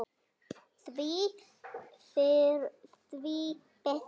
Því fyrr því betra.